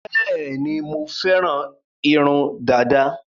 Bẹẹni, mo féràn irun dada